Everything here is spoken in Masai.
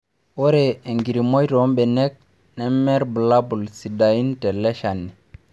Ore enkirimoi too mbenek neme irbulabul sidain tele shani